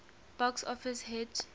box office hit